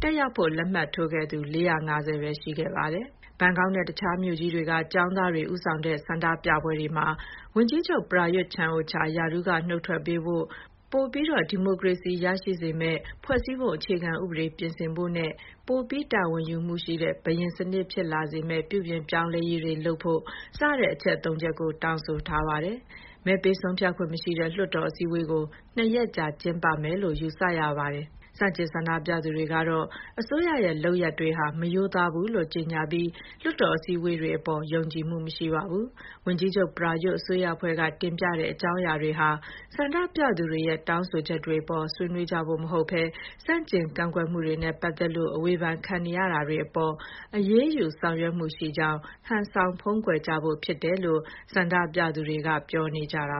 တက်ရောက်ဖို့ လက်မှတ်ထိုးခဲ့သူက ၄၅၀ ပဲ ရှိခဲ့ပါတယ်။ ဘန်ကောက်နဲ့ တခြားမြို့ကြီးတွေက ကျောင်းသားတွေ ဦးဆောင်တဲ့ ဆန္ဒပြပွဲတွေမှာ ဝန်ကြီးချုပ် ပရာရွတ် ချန်အိုချာ ရာထူးက နုတ်ထွက်ပေးဖို့၊ ပိုပြီး ဒီမိုကရေစီရှိစေမယ့် ဖွဲ့စည်းပုံအခြေခံဥပဒေပြင်ဆင်ဖို့နဲ့ ပိုပြီး တာဝန်ယူမှုရှိတဲ့ ဘုရင်စနစ်ဖြစ်လာစေမယ့် ပြုပြင်ပြောင်းလဲရေးတွေလုပ်ဖို့စတဲ့ အချက် ၃ ချက်ကို တောင်းဆိုထားပါတယ်။ မဲပေးဆုံးဖြတ်ခွင့်မရှိတဲ့ လွှတ်တော်အစည်းအဝေးကို ၂ ရက်ကြာ ကျင်းပမယ်လို့ ယူဆရပါတယ်။ ဆန့်ကျင်ဆန္ဒပြနေသူတွေကတော့ အစိုးရရဲ့ လုပ်ရပ်တွေဟာ မရိုးသားဘူးလို့ ကြေညာပြီး လွှတ်တော် အစည်းအဝေးတွေအပေါ် ယုံကြည်မှုမရှိပါဘူး။ ဝန်ကြီးချုပ်ပရာရွတ် အစိုးရအဖွဲ့က တင်ပြတဲ့အကြောင်းရာတွေဟာ ဆန္ဒပြသူတွေရဲ့ တောင်းဆိုချက်တွေအပေါ် ဆွေးနွေးကြဖို့ မဟုတ်ဘဲ ဆန့်ကျင်ကန့်ကွက်မှုတွေနဲ့ပတ်သက်လို့ အဝေဖန်ခံနေရတာတွေအပေါ် အရေးယူ ဆောင်ရွက်မှုရှိကြောင်း ဟန်ဆောင်ဖုံးကွယ်ကြဖို့ဖြစ်တယ်လို့ ဆန္ဒပြသူတွေက ပြောနေကြတာ